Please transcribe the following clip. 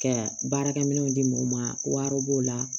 Ka baarakɛminɛnw di mɔgɔ ma wari b'o la